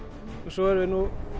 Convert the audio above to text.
svo erum við